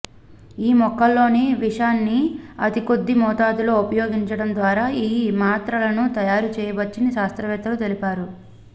ఈ మొక్కల్లోని విషాన్ని అతి కొద్ది మోతాదులో ఉపయోగించడం ద్వారా ఈ మాత్రలను తయారు చేయవచ్చని శాస్త్రవేత్తలు తెలిపారు